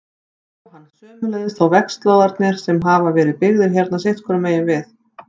Jóhann: Sömuleiðis þá vegslóðarnir sem hafa verið byggðir hérna sitthvoru megin við?